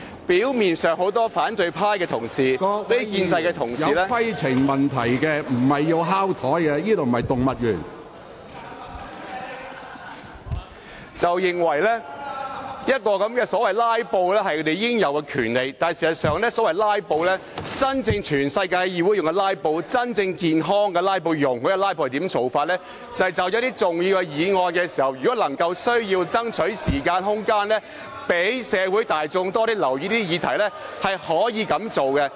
表面上，很多反對派同事認為"拉布"是他們應有的權利，但事實上，在世界其他地方的議會採用的"拉布"。真正健康及容許的"拉布"，是有需要就某些重要議案爭取時間和空間，讓社會大眾多些留意議題才可以這樣做。